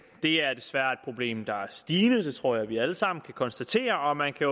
det er desværre et problem der er stigende det tror jeg vi alle sammen kan konstatere og man kan